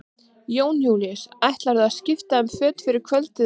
Jón Júlíus: Ætlarðu að skipta um föt fyrir kvöldið eða hvað?